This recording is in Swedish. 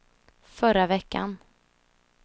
förra veckan